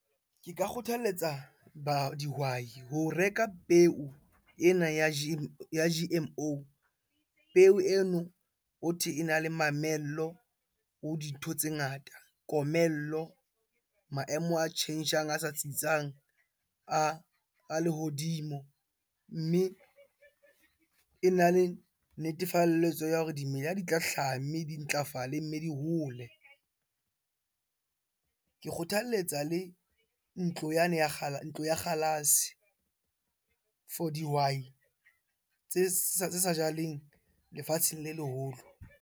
Ke ka kgothaletsa dihwai ho reka peo ena ya G_M_O. Peo eno hothwe ena le mamello ho dintho tse ngata, komello, maemo a tjhentjhang a sa tsitsang a lehodimo. Mme ena le netefalletso ya hore dimela di tla hlaha, mme di ntlafale mme di hole. Ke kgothaletsa le ntlo yane ya , ntlo ya kgalase for dihwai tse sa jaleng lefatsheng le leholo.